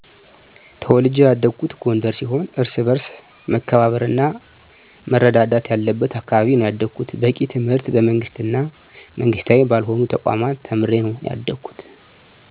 ተውልጀ ያደኩት ጎንደር ሲሆን እርስ በርስ መከባበር እና መረዳዳት ያለብት አካባቢ ነው ያደኩት። በቂ ትምህርትን በመንግስት እና መንግስታዊ ባልሆኑ ተቋማት ተምሬ ነው ያደኩት።